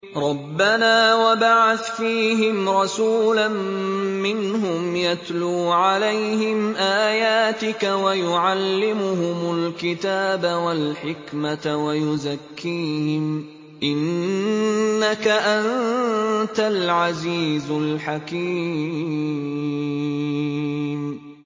رَبَّنَا وَابْعَثْ فِيهِمْ رَسُولًا مِّنْهُمْ يَتْلُو عَلَيْهِمْ آيَاتِكَ وَيُعَلِّمُهُمُ الْكِتَابَ وَالْحِكْمَةَ وَيُزَكِّيهِمْ ۚ إِنَّكَ أَنتَ الْعَزِيزُ الْحَكِيمُ